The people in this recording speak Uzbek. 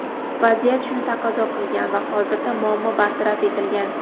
vaziyat shuni taqozo qilgan va hozirda muammo bartaraf etilgan.